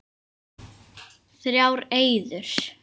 Þrjár eyður.